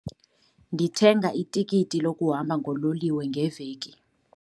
Ndithenga itikiti lokuhamba ngololiwe ngeveki.